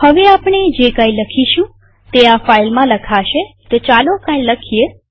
હવે આપણે જે કઈ લખીશું તે આ ફાઈલમાં લખાશેતો ચાલો કઈ લખીએ